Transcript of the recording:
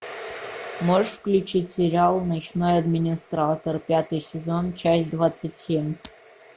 можешь включить сериал ночной администратор пятый сезон часть двадцать семь